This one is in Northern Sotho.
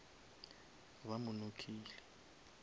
ba mo knockile